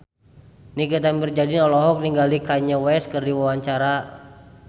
Nikita Mirzani olohok ningali Kanye West keur diwawancara